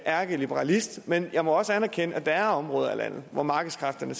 ærkeliberalist men jeg må også anerkende at der er områder af landet hvor markedskræfterne